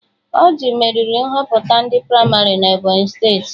Ọrjị meriri Nhọpụta ndị pramarị na Ebọnyị steeti